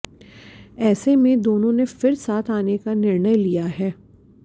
ऐसे में दोनों ने फिर साथ आने का निर्णय लिया है